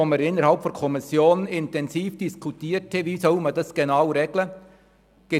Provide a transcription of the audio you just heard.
Wir haben in der Kommission intensiv darüber diskutiert, wie diese Überprüfung geregelt werden soll.